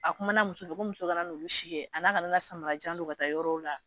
A kumana muso ko muso kana na olu si kɛ a n'a kana na samara janw don ka taa yɔrɔw la